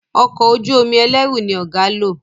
Ọkọ̀ ojú-omi ẹlẹru ní ọgá ló.